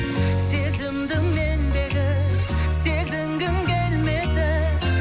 сезімді мендегі сезінгің келмеді